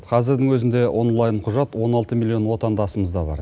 қазірдің өзінде онлайн құжат он алты миллион отандасымызда бар